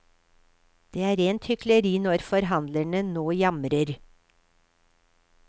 Det er rent hykleri når forhandlerne nå jamrer.